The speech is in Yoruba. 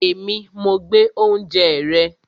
Èmi, mo gbé oúnjẹ rẹ